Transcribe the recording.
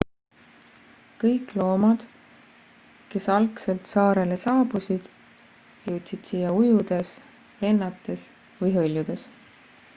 kõik loomad kes algselt saarele saabusid jõudsid siia ujudes lennates või hõljudes